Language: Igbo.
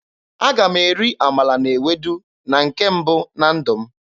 Aga m eri amala na ewedu na nke mbụ na ndụ m.